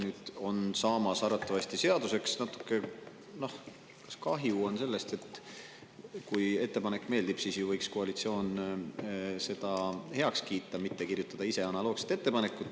Natuke kahju on sellest, et kui ettepanek meeldib, siis võiks koalitsioon ju selle heaks kiita, mitte kirjutada ise analoogset ettepanekut.